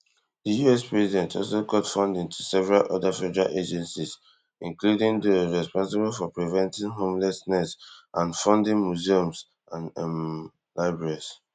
di us president also cut funding to several oda federal agencies including those responsible for preventing homelessness and funding museums and um libraries